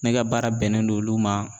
Ne ka baara bɛnnen don olu ma